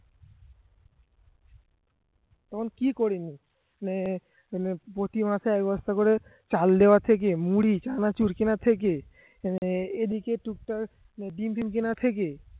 তখন কি করিনি মানে মানে প্রতি মাসে এক বস্তা করে চাল দেওয়া থেকে মুড়ি চানাচুর কেনার থেকে মানে এদিকে টুক টাক ডিম ফিম কেনা থেকে